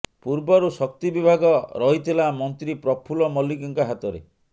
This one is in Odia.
ପୂର୍ବରୁ ଶକ୍ତି ବିଭାଗ ରହିଥିଲା ମନ୍ତ୍ରୀ ପ୍ରଫୁଲ ମଲ୍ଲିକଙ୍କ ହାତରେ